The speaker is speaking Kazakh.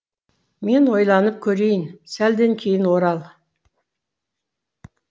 мен ойланып корейін сәлден кейін орал